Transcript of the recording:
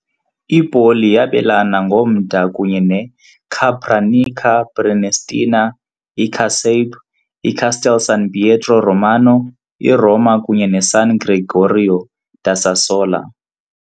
I-Poli yabelana ngomda kunye neCapranica Prenestina, iCasape, iCastel San Pietro Romano, iRoma, kunye neSan Gregorio da Sassola .